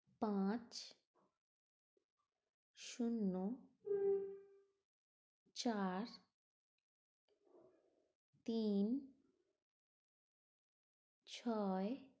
পাঁচ শূন্য চার তিন ছয়